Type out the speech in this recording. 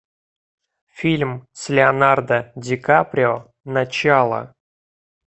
фильм с леонардо ди каприо начало